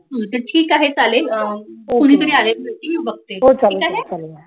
ठीक आहे चालेल कुणीतरी आलेत मी बघते